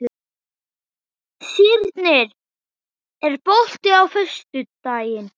Sírnir, er bolti á föstudaginn?